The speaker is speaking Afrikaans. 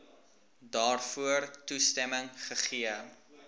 daarvoor toestemming gegee